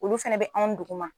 Olu fɛnɛ bɛ anw duguma.